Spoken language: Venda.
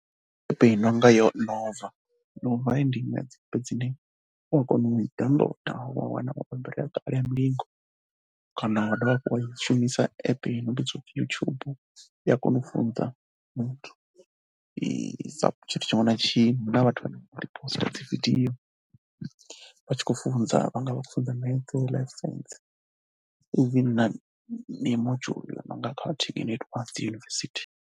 I no yonova ndi app dzine wa kona u dzi downloader wa wana mabambiri a kale a mulingo kana wa dovha hafhu wa shumisa app yo no pfi YouTube. I ya kona u pfhunza muthu tshiṅwe na tshiṅwe. Hu na vhathu vhane vha poster dzi video vha tshi khou funza, vha nga vha khou pfhunza metse, Life science even na module yo no nga ya dzi yunivesithi.